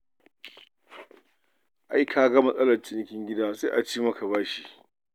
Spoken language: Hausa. Ai ka ga matsalar cinikin gida, sai a ci maka bashi.